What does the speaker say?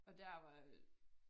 Og der var